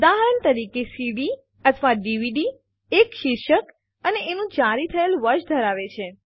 ઉદાહરણ તરીકે સીડી અથવા ડીવીડી એક શીર્ષક અને એનું જારી થયેલ વર્ષ ધરાવે છે